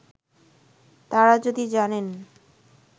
তারা যদি জানেন